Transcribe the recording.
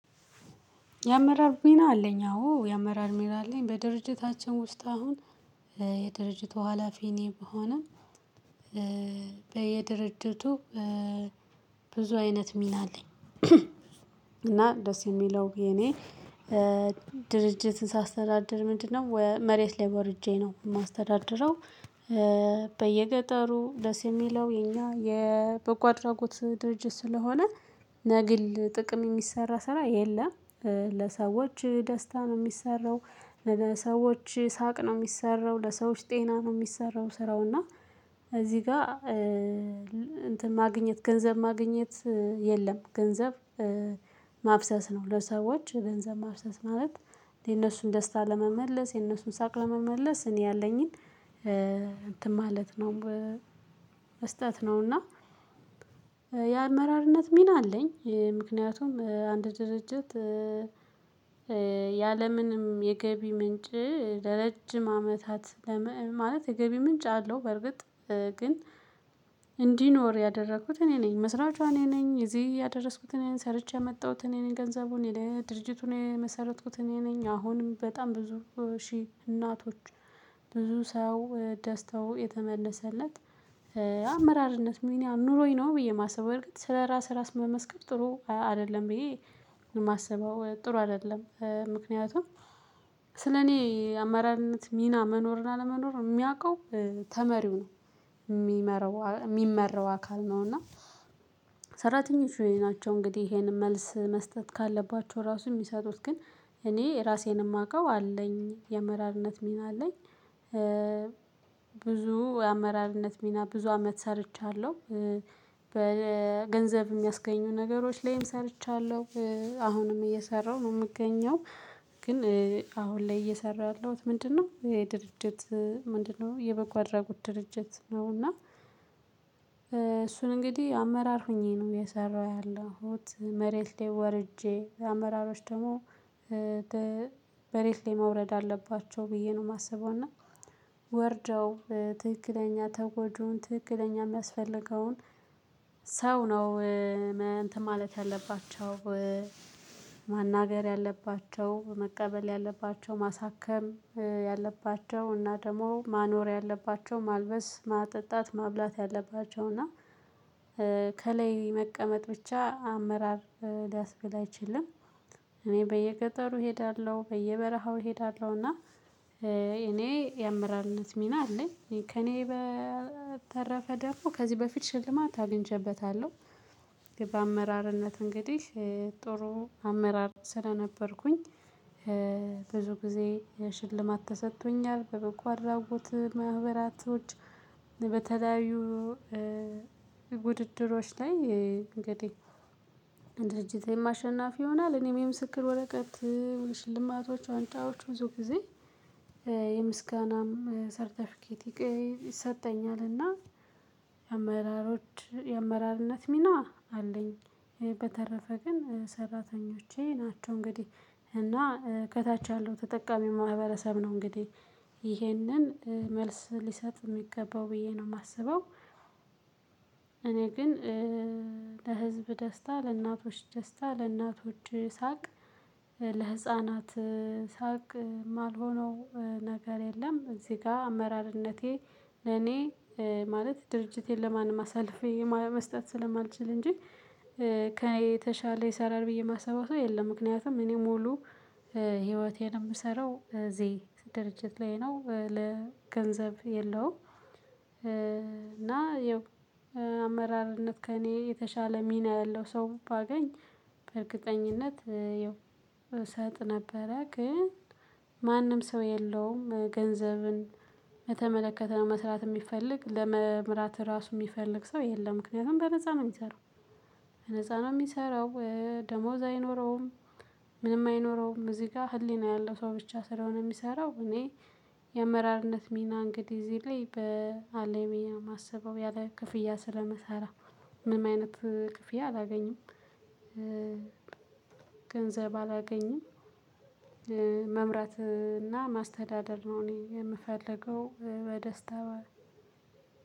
የአመራር ሚና አለኝ አዎ የአመራር ሚና አለኝ። በድርጅታችን ውስጥ አሁን የድርጅቱ ሀላፊ እኔ ብሆንም። በየድርጅቱ ብዙ አይነት ሚና አለኝ። እና ደስ የሚለው የኔ ድርጅትን ሳስተዳድር ምንድነው መሬት ላይ ወርጄ ነው የማስተዳድረው። በየገጠሩ ደስ የሚለው የኛ የበጎ አድራጎት ድርጅት ስለሆነ ለግል ጥቅም የሚሰራ ስራ የለም። ለሰዎች ደስታ ነው የሚሰራው ለሰዎች ሳቅ ነው የሚሰራው ለሰዎች ጤና ነው የሚሰራው። ስራው እና እዚህ ጋር እንትን ማግኘት ገንዘብ ማግኘት የለም። ገንዘብ ማፍሰስ ነው ለሰዎች ገንዘብ ማፍሰስ ማለት የነሱን ደስታ ለመመለስ የነሱን ሳቅ ለመመለስ እኔ ያለኝን እንትን ማለት ነው። መስጠት ነውና የአመራርነት ሚና አለኝ። ምክንያቱም አንድ ድርጅት ያለምንም የገቢ ምንጭ ለረጅም አመታት ለምን ማለት የገቢ ምንጭ አለው። በርግጥ ግን እንዲኖር ያደረኩት እኔ ነኝ መስራቿ እኔ ነኝ እዚህ ያደረስኩት እኔን ሰርቼ የመጣሁት እኔን ገንዘቡን ድርጅቱን የመሰረቱት እኔ ነኝ አሁንም በጣም ብዙ ሺህ እናቶች ብዙ ሰው ደስተው የተመለሰለት። አመራርነት ሚና ኑሮኝ ነው ብዬ የማስበው እርግጥ ስለራስ ራስ መመስከር ጥሩ አይደለም ብዬ ነው። የማስበው ጥሩ አይደለም። ምክንያቱም ስለኔ አማራነት ሚና መኖርና ለመኖር የሚያውቀው ተመሪው ነው። የሚመረው የሚመራው አካል ነው። እና ሰራተኞች የኔ ናቸው እንግዲህ ይሄንን መልስ መስጠት ካለባቸው ራሱ የሚሰጡት ግን እኔ ራሴን የማውቀው አለኝ የመራርነት ሚና አለኝ። ብዙ የአመራርነት ሚና ብዙ አመት ሰርቻለሁ። በገንዘብ የሚያስገኙ ነገሮች ላይም ሰርቻለሁ አሁንም እየሰራሁ ነው የምገኘው። ግን አሁን ላይ እየሰራሁ ያለሁት ምንድነው? ድርጅት ምንድነው የበጎ አድራጎት ድርጅት ነው። እና እሱን እንግዲህ አመራር ሆኜ ነው የሰራው ያለሁት መሬት ላይ ወርጄ አመራሮች ደግሞ። መሬት ላይ መውረድ አለባቸው ብዬ ነው የማስበው። እና ወርደው ትክክለኛ ተጎጁን ትክክለኛ የሚያስፈልገውን ሰው ነው። እንትን ማለት ያለባቸው። ማናገር ያለባቸው መቀበል ያለባቸው ማሳከም ያለባቸው እና ደግሞ ማኖር ያለባቸው ማልበስ ማጠጣት ማብላት ያለባቸው እና ከላይ መቀመጥ ብቻ አመራር ሊያስብል አይችልም። እኔ በየገጠሩ እሄዳለሁ በየበረሃው እሄዳለሁና እኔ የአምራንነት ሚና አለኝ። ከእኔ በተረፈ ደግሞ ከዚህ በፊት ሽልማት አገኝቼበታለሁ። በአመራርነት እንግዲህ ጥሩ አመራር ስለነበርኩኝ ብዙ ጊዜ ሽልማት ተሰጥቶኛል በበጎ አድራጎት ማህበራቶች። በተለያዩ ውድድሮች ላይ እንግዲህ ድርጅቴም አሸናፊ ይሆናል እኔም የምስክር ወረቀት ሽልማቶች ዋንጫዎች ብዙ ጊዜ የምስጋናም ሰርተፊኬቲክ ይሰጠኛልና። የአመራሮች የአመራርነት ሚና አለኝ። በተረፈ ግን ሰራተኞቼ ናቸው እንግዲህ እና ከታች ያለው ተጠቃሚ ማህበረሰብ ነው እንግዲህ ይህንን መልስ ሊሰጥ የሚገባው ብዬ ነው የማስበው። እኔ ግን ለህዝብ ደስታ ለእናቶች ደስታ ለእናቶች ሳቅ ለህፃናት ሳቅ የማልሆነው ነገር የለም። እዚህ ጋር አመራርነቴ ለኔ ማለት ድርጅቴን ለማን ማሳለፌ መስጠት ስለማልችል እንጂ ከኔ የተሻለ ይሰራል ብዬ የማስበው ሰው የለም። ምክንያቱም እኔ ሙሉ ህይወቴን የምሰራው እዚህ ድርጅት ላይ ነው ለገንዘብ የለውም። እና ይኸው አመራርነት ከእኔ የተሻለ ሚና ያለው ሰው ባገኝ በእርግጠኝነት ይው እሰጥ ነበረ ግን ማንም ሰው የለውም። ገንዘብን የተመለከተ ነው መስራት የሚፈልግ ለመምራት ራሱ የሚፈልግ ሰው የለም ምክንያቱም በነፃ ነው የሚሰራው። በነፃ ነው የሚሰራው ደሞዝ አይኖረውም። ምንም አይኖረውም እዚህ ጋር ህሊና ያለው ሰው ብቻ ስለሆነ የሚሰራው እኔ የመራርነት ሚና እንግዲህ እዚህ ላይ በአለኝ ብየ የማስበው ያለ ክፍያ ስለመሳራ ምንም አይነት ክፍያ አላገኘም አላገኝም። ገንዘብ አላገኝም። መምራትና ማስተዳደር ነው እኔ የምፈልገው በደስታ በር።